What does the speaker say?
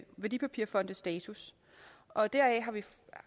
værdipapirfondes status og deraf